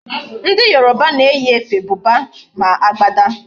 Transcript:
Ndi Yoruba na eyi efe Buba, ma agbada